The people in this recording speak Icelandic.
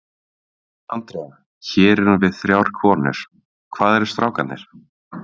Andrea, hér erum við þrjár konur, hvað eru strákarnir?